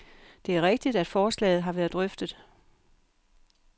Det er rigtigt, at forslaget har været drøftet.